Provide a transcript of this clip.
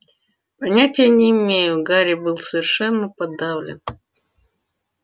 понятия не имею гарри был совершенно подавлен